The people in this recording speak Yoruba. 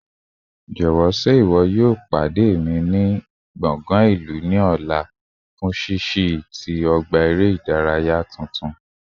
Jọwọ ṣe iwọ yoo pade mi ni square ilu ni ọla fun ṣiṣi nla ti ọgba ere idaraya tuntun?